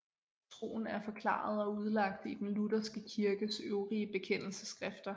Troen er forklaret og udlagt i den lutherske kirkes øvrige bekendelsesskrifter